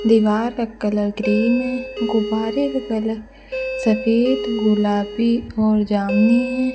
दीवार का colour green है गुब्बारे का कलर सफेद गुलाबी और जामनी हैं।